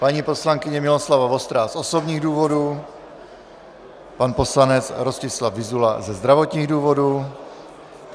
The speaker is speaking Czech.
Paní poslankyně Miloslava Vostrá z osobních důvodů, pan poslanec Rostislav Vyzula ze zdravotních důvodů.